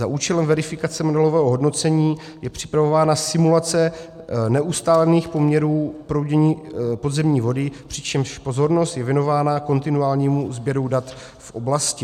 Za účelem verifikace modelového hodnocení je připravována simulace neustálených poměrů proudění podzemní vody, přičemž pozornost je věnována kontinuálnímu sběru dat v oblasti.